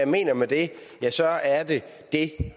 mener med det ja så er det